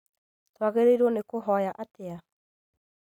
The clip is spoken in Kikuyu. Twagĩrĩirwo nĩ kũhoya atĩa?